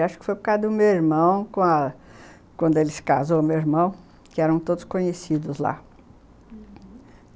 Acho que foi por causa do meu irmão, quando ele se casou, meu irmão, que eram todos conhecidos lá, uhum.